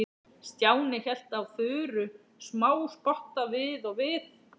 Stjáni hélt á Þuru smáspotta við og við.